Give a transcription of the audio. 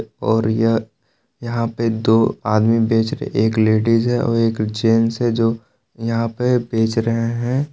और यह यहां पे दो आदमी बेच रहे एक लेडिस है और एक जेंट्स है जो यहां पे बेच रहे हैं।